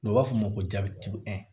N'u b'a f'o ma ko